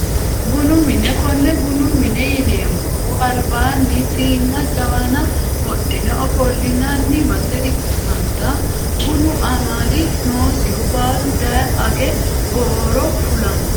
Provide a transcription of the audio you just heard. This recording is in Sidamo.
Bunu mine kone bunu mine yineemohu albaani siinana jawana wodhine ofolinani base ikitana bunu amali noosihu baalu daye age gooro fulano.